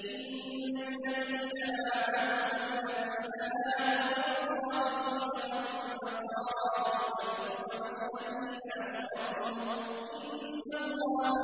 إِنَّ الَّذِينَ آمَنُوا وَالَّذِينَ هَادُوا وَالصَّابِئِينَ وَالنَّصَارَىٰ وَالْمَجُوسَ وَالَّذِينَ أَشْرَكُوا إِنَّ اللَّهَ